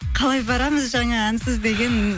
қалай барамыз жаңа әнсіз деген